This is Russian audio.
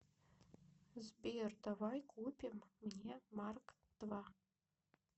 сбер давай купим мне марк два